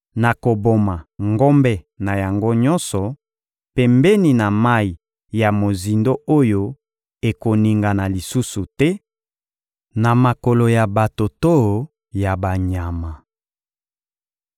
Nakoboma ngombe na yango nyonso pembeni ya mayi ya mozindo oyo ekoningana lisusu te na makolo ya bato to ya banyama.